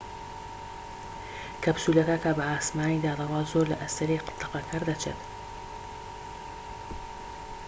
کەپسولەکە کە بە ئاسمانیدا دەڕوات زۆر لە ئەستێرەی تەقەکەر دەچێت